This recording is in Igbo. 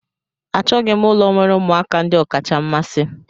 Achọghị m ụlọ nwere ụmụaka ndị ọkacha mmasị.